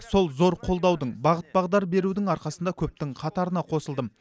сол зор қолдаудың бағыт бағдар берудің арқасында көптің қатарына қосылдым